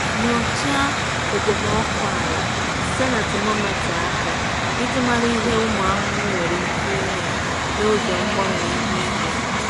Nyochaa okpomọkụ ala site na temometa aka iji mara ihe ụmụ ahụhụ nwere ike ime n’oge mgbanwe ihu igwe.